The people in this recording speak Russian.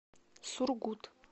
сургут